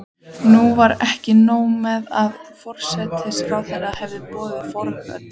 Nú var ekki nóg með að forsætisráðherra hafði boðað forföll.